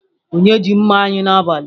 Onye ji mma anyi n'abali?